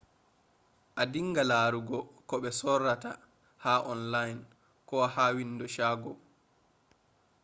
a dinga larugo ko be sorrata ha online ko ha window shago